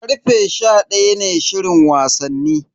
Karfe sha daya ne shirin wasanni.